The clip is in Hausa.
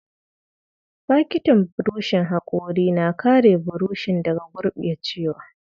Fakitin burushin hakori na kare buroshin daga gurɓacewa.